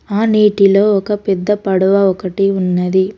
ఆ నీటిలో ఒక పెద్ద పడవ ఒకటి ఉన్నది.